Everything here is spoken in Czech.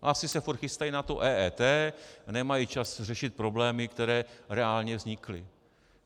Asi se furt chystají na EET a nemají čas řešit problémy, které reálně vznikly.